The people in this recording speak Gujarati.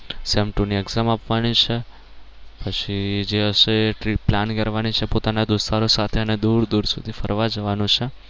sem two ની exam આપવાની છે પછી જે હશે એ trip plan કરવાની છે પોતાના દોસ્તારો સાથે અને દૂર દૂર સુધી ફરવા જવાનું છે.